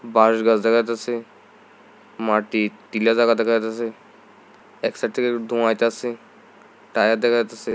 বাঁশগাছ দেখা যাইতাসে মাটির টিলা দেখা যাইতাসে এক সাইড থেকে একটু ধোঁয়া উঠতাইসে টায়ার দেখা যাইতাসে।